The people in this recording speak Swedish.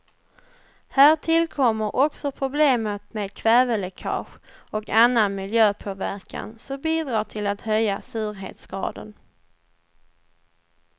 Här tillkommer också problemet med kväveläckage och annan miljöpåverkan, som bidrar till att höja surhetsgraden.